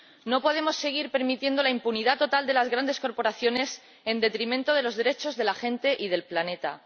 No podemos seguir permitiendo la impunidad total de las grandes corporaciones en detrimento de los derechos de la gente y del planeta.